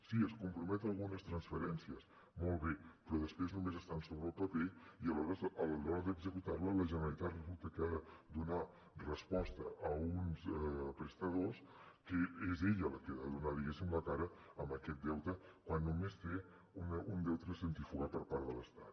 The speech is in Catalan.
sí es compromet a algunes transferències molt bé però després només estan sobre el paper i a l’hora d’executar les la generalitat resulta que ha de donar resposta a uns prestadors que és ella la que ha de donar la cara amb aquest deute quan només té un deute de centrifugat per part de l’estat